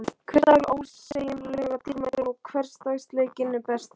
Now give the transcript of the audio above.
Hver dagur er ósegjanlega dýrmætur og hversdagsleikinn er bestur.